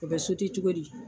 O bɛ cogo di.